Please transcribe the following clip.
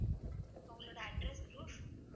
உங்களோட address proof